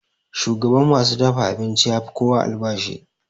Shugan ma su dafa abincin ya fi kowa albashi.